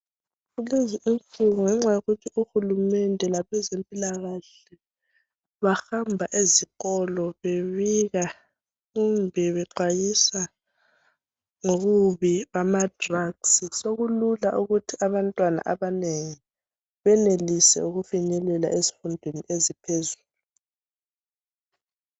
Kulezi insuku ngenxa yokuthi uhulumende labezempilakahle bahamba ezikolo bebika kumbe bexwayisa ngobubi bama drugs , sokulula ukuthi abantwana abanengi benelise ukufinyelela ezifundweni eziphezulu